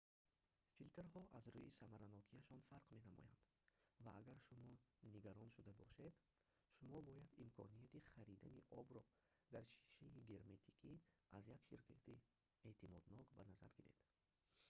филтрҳо аз рӯи самаранокияшон фарқ менамоянд ва агар шумо нигарон шуда бошед шумо бояд имконияти харидани обро дар шишаи герметикӣ аз як ширкати эътимоднок ба назар гиред